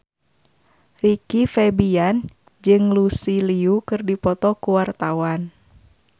Rizky Febian jeung Lucy Liu keur dipoto ku wartawan